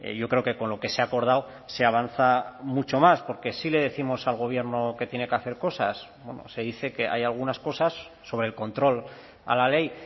yo creo que con lo que se ha acordado se avanza mucho más porque sí le décimos al gobierno que tiene que hacer cosas se dice que hay algunas cosas sobre el control a la ley